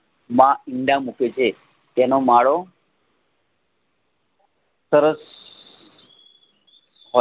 બા ઈંડા મૂકે છે તેનો માળો સરસ હો